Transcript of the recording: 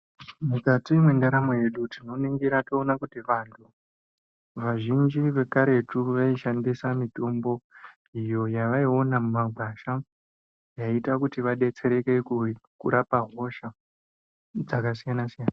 Mukati mwendaramo yedu tinoningira toona kuti vantu vazhinji vakaretu vaishandisa mitombo iyo yavaiona mumagwasha yaiita kuti vadetsereke kurapa hosha dzakasiyana siyana.